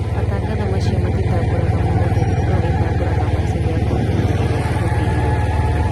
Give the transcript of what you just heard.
Matangatho macio matitambũraga mũhũthĩri , no ĩtambũraga mashini ya kompyuta ĩrĩa ihũthĩrirwo.